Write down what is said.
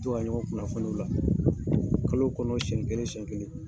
Jɔn ka ɲɔgɔn kunnafoni o la kalo kɔnɔ siɲɛ kelen siɲɛ kelen